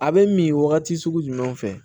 A bɛ min wagati sugu jumɛn fɛ